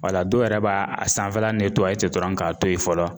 dɔw yɛrɛ b'a a sanfɛla dɔrɔn k'a to yen fɔlɔ